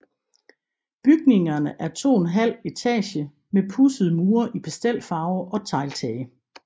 Bygningerne er 2½ etage med pudsede mure i pastelfarver og tegltage